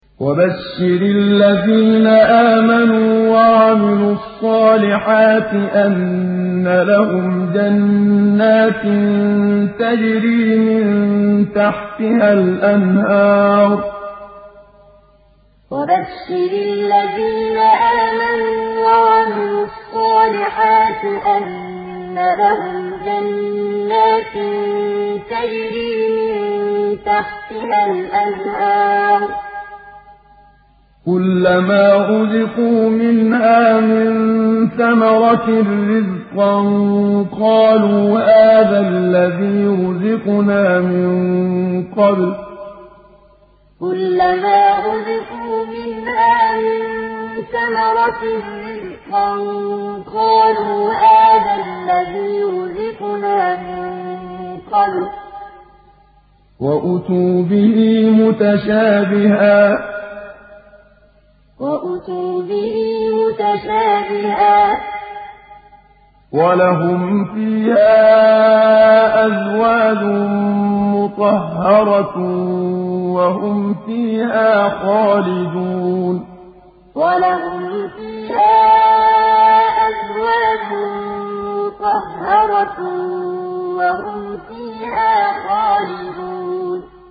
وَبَشِّرِ الَّذِينَ آمَنُوا وَعَمِلُوا الصَّالِحَاتِ أَنَّ لَهُمْ جَنَّاتٍ تَجْرِي مِن تَحْتِهَا الْأَنْهَارُ ۖ كُلَّمَا رُزِقُوا مِنْهَا مِن ثَمَرَةٍ رِّزْقًا ۙ قَالُوا هَٰذَا الَّذِي رُزِقْنَا مِن قَبْلُ ۖ وَأُتُوا بِهِ مُتَشَابِهًا ۖ وَلَهُمْ فِيهَا أَزْوَاجٌ مُّطَهَّرَةٌ ۖ وَهُمْ فِيهَا خَالِدُونَ وَبَشِّرِ الَّذِينَ آمَنُوا وَعَمِلُوا الصَّالِحَاتِ أَنَّ لَهُمْ جَنَّاتٍ تَجْرِي مِن تَحْتِهَا الْأَنْهَارُ ۖ كُلَّمَا رُزِقُوا مِنْهَا مِن ثَمَرَةٍ رِّزْقًا ۙ قَالُوا هَٰذَا الَّذِي رُزِقْنَا مِن قَبْلُ ۖ وَأُتُوا بِهِ مُتَشَابِهًا ۖ وَلَهُمْ فِيهَا أَزْوَاجٌ مُّطَهَّرَةٌ ۖ وَهُمْ فِيهَا خَالِدُونَ